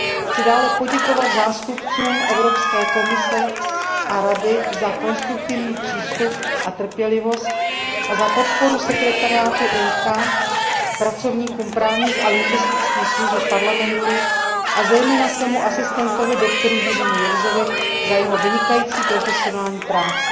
Chci dále poděkovat zástupcům Evropské komise a Rady za konstruktivní přístup a trpělivost a za podporu sekretariátu výboru IMCO, pracovníkům právních a lingvistických služeb Parlamentu, a zejména svému asistentovi, doktoru Jiřímu Jirsovi, za jeho vynikající profesionální práci.